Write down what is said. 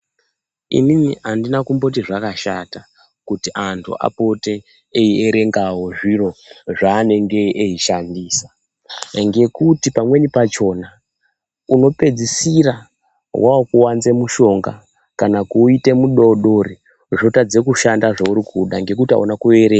Inini andina kumboti zvakashata kuti anhu apote eiverengawo zviro zvaanenge veishandisa ngekuti pamweni pachona unopedzisira wakuwanze mushonga kana kuwuita mudodori wotadze kushanda zvaunodangekuti hauna kuverenga .